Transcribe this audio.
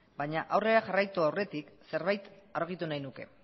baina aurrera jarraitu aurretik zerbait argitu nahi nuke